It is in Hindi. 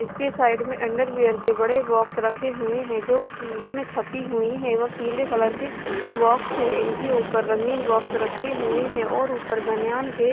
इसके साइड में अंडरवियर के बड़े बॉक्स रखे हुए है जो उस में छपी हुई है और पिले कलर के बॉक्स है इनके ऊपर रंगीन बॉक्स रखे हुए है और ऊपर बनयान के--